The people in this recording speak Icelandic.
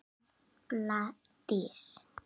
Þín Embla Dís.